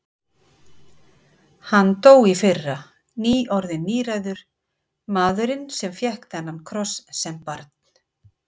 Hann dó í fyrra, nýorðinn níræður, maðurinn sem fékk þennan kross sem barn.